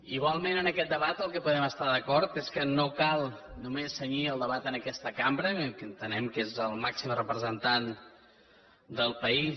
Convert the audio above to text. igualment en aquest debat en el que podem estar d’acord és que no cal només cenyir el debat a aquesta cambra que entenem que és la màxima representant del país